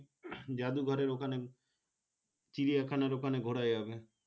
জাদুঘরের ওখানে চিড়িয়াখানার ওখানে ঘুরা যাবে